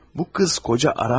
Bu qız ər axtarmır.